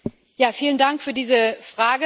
Vielen Dank für diese Frage.